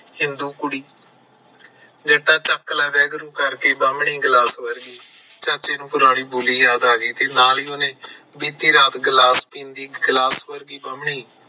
ਹਿੰਦੂ ਕੁੜੀ ਫਿਰ ਤੇ ਚੱਕ ਲੈ ਵਾਹਿਗੁਰੂ ਕਰਕੇ ਕੁੜੀ ਗਿਲਾਸ ਵਰਗੀ ਤੇ ਚਾਚੇ ਨੂੰ ਪੁਰਾਣੀ ਬੋਲੀ ਯਾਦ ਆ ਗਈ ਤੇ ਨਾਲ ਹੀ ਉਹਨੇ ਬੀਤੀ ਰਾਤ